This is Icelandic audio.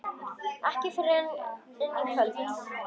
Ekki fyrr en í kvöld.